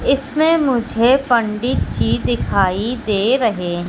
इसमें मुझे पंडित जी दिखाई दे रहें--